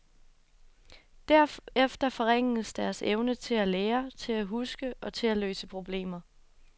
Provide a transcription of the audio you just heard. Derefter forringes deres evne til at lære, til at huske og til at løse problemer.